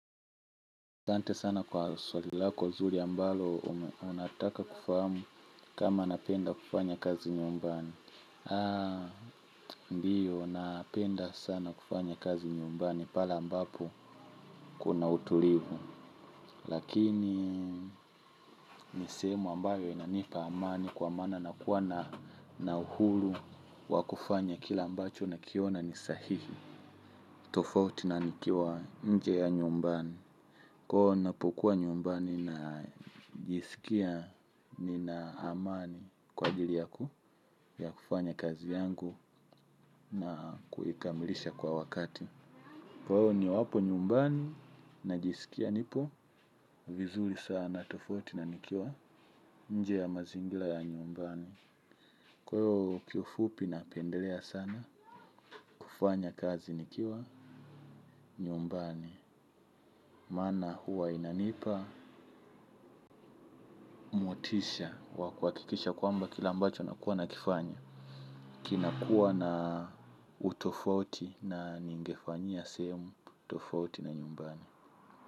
Sante sana kwa swalilako nzuri ambalo unataka kufahamu kama napenda kufanya kazi nyumbani. Haa, ndiyo, napenda sana kufanya kazi nyumbani pale ambapo kuna utulivu. Lakini, nisehemu ambayo inanipa amani kwa maana na kuwa na uhuru wa kufanya kila ambacho na kiona ni sahihi. Tofauti na nikiwa nje ya nyumbani. Kwao napokuwa nyumbani na jiskia ni na amani kwa ajili yaku ya kufanya kazi yangu na kuikamilisha kwa wakati. Kwao ni wapo nyumbani na jiskia nipo vizuri sana tofauti na nikiwa nje ya mazingira ya nyumbani. Kwa hiyo kiufupi na pendelea sana kufanya kazi nikiwa nyumbani. Maana huwa inanipa, motisha, wakuha kikisha kwamba kila ambacho nakuwa na kifanya kinakuwa na utofauti na ningefanyia sehemu tofauti na nyumbani.